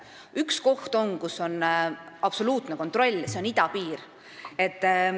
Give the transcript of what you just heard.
Üks koht on, kus on absoluutne kontroll, see on idapiir.